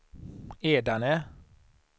Edane